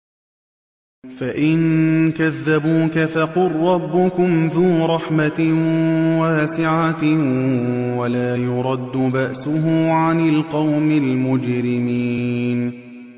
فَإِن كَذَّبُوكَ فَقُل رَّبُّكُمْ ذُو رَحْمَةٍ وَاسِعَةٍ وَلَا يُرَدُّ بَأْسُهُ عَنِ الْقَوْمِ الْمُجْرِمِينَ